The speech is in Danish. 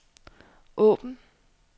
åbn